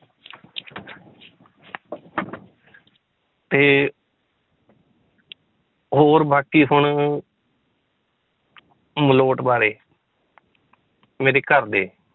ਤੇ ਹੋਰ ਬਾਕੀ ਹੁਣ ਮਲੋਟ ਬਾਰੇ ਮੇਰੇ ਘਰਦੇ